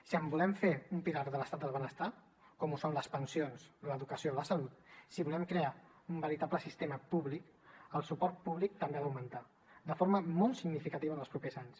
si en volem fer un pilar de l’estat del benestar com ho són les pensions l’educació i la salut si volem crear un veritable sistema públic el suport públic també ha d’augmentar de forma molt significativa en els propers anys